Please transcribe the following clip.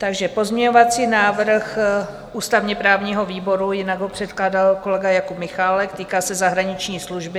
Takže pozměňovací návrh ústavně-právního výboru, jinak ho předkládal kolega Jakub Michálek, týká se zahraniční služby.